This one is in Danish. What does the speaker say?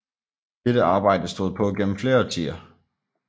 Dette arbejde stod på gennem flere årtier